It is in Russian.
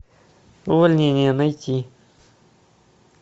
увольнение найти